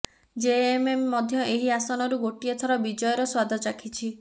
JMM ମଧ୍ୟ ଏହି ଆସନରୁ ଗୋଟିଏ ଥର ବିଜୟର ସ୍ୱାଦ ଚାଖିଛି